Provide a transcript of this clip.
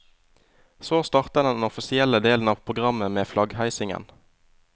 Så starter den offisielle delen av programmet med flaggheisingen.